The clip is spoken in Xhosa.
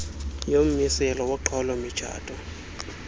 yommiselo woqhawulo mitshato